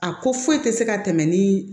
A ko foyi tɛ se ka tɛmɛ ni